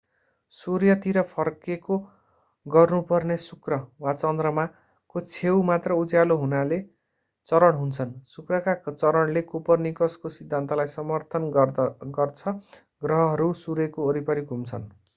सूर्यतिर फर्केको गर्नु पर्ने शुक्र वा चन्द्रमा को छेउ मात्र उज्यालो हुनाले चरण हुन्छन्। शुक्रका चरणले कोपरनिकसको सिद्धान्तलाई समर्थन गर्छ ग्रहहरू सूर्यको वरिपरि घुम्छन्।